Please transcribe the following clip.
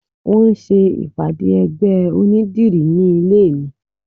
Wọn ń ṣe ìpàdé ẹgbẹ́ onídìrí nílé mi